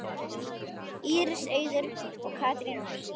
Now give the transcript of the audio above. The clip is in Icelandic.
Íris Auður og Katrín Ósk.